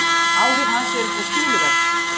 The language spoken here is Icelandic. Áhrif hans eru þó töluverð.